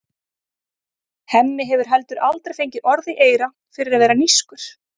Hemmi hefur heldur aldrei fengið orð í eyra fyrir að vera nískur.